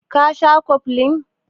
Ka sha koflin?